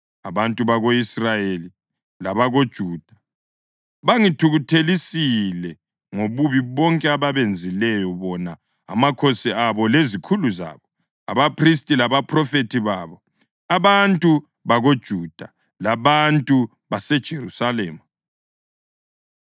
Abantu bako-Israyeli labakoJuda bangithukuthelisile ngobubi bonke ababenzileyo, bona, amakhosi abo lezikhulu zabo, abaphristi labaphrofethi babo, abantu bakoJuda labantu baseJerusalema.